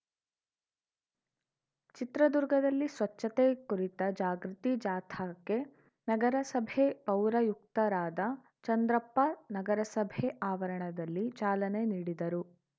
ಚಿತ್ರದುರ್ಗದಲ್ಲಿ ಸ್ವಚ್ಛತೆ ಕುರಿತ ಜಾಗೃತಿ ಜಾಥಾಕ್ಕೆ ನಗರಸಭೆ ಪೌರಾಯುಕ್ತರಾದ ಚಂದ್ರಪ್ಪ ನಗರಸಭೆ ಆವರಣದಲ್ಲಿ ಚಾಲನೆ ನೀಡಿದರು